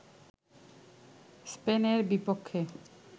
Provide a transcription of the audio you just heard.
স্পেনের বিপক্ষে